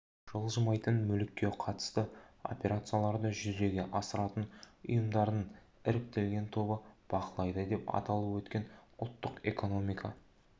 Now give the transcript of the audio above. жылжымайтын мүлікке қатысты операцияларды жүзеге асыратын ұйымдардың іріктелген тобы бақылайды деп аталып өткен ұлттық экономика